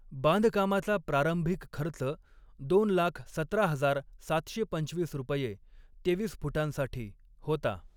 बांधकामाचा प्रारंभिक खर्च दोन लाख सतरा हजार सातशे पंचवीस रुपये तेवीस फुटांसाठी होता.